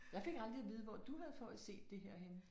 Jeg fik aldrig at vide hvor du havde fået set det her henne